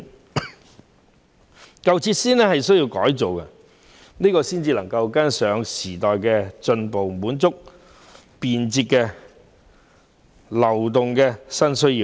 為跟上時代的步伐，便得更新舊設施，以滿足便捷流動的新需要。